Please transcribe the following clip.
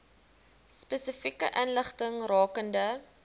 spesifieke inligting rakende